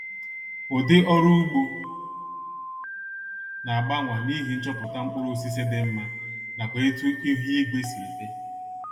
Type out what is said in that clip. Udi ọrụ ụgbo na-agbanwa n' ihi nchọpụta mkpụrụosisi dị mma nakwa etu ihuigwe si dị